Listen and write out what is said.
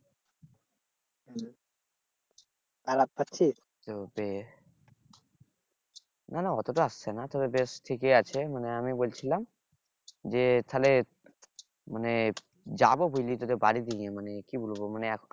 না না অতটা আসছে না তবে বেশ ঠিকই আছে মানে আমি বলছিলাম যে তাহলে মানে যাবো বুঝলি তোদের বাড়ির দিকে মানে কি বলবো মানে এখন